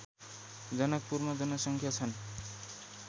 जनकपुरमा जनसङ्या छन्